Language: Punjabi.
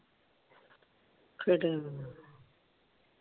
ਫੀਤੇ ਮੂੰਹ।